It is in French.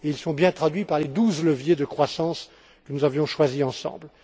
Ils sont bien traduits par les douze leviers de croissance que nous avions choisis ensemble.